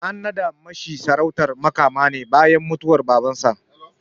An naɗa shi sarautar Makama ne bayan mutuwar Babansa.